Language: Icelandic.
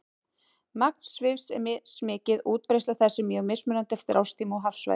Magn svifs er mismikið og útbreiðsla þess er mjög mismunandi eftir árstíma og hafsvæðum.